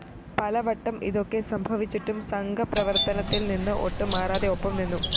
പലവട്ടം ഇതൊക്കെ സംഭവിച്ചിട്ടും സംഘപ്രവര്‍ത്തനത്തില്‍നിന്ന് ഒട്ടും മാറാതെ ഒപ്പം നിന്നു